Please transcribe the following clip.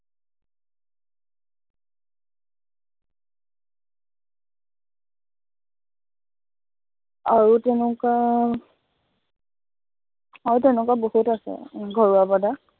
আৰু তেনেকুৱা আৰু তেনেকুৱা বহুত আছে ঘৰুৱা product